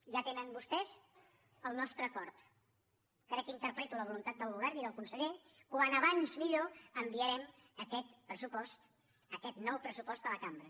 ja tenen vostès el nostre acord crec que interpreto la voluntat del govern i del conseller com més aviat millor enviarem aquest pressupost aquest nou pressupost a la cambra